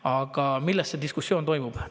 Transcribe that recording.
Aga mille üle diskussioon toimub?